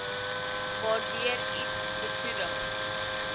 waardeur iets besoedel